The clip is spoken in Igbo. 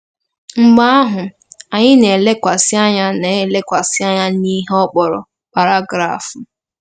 Mgbe ahụ, anyị na-elekwasị anyị na-elekwasị anya n'ihe ọ kpọrọ ' paragraf m. '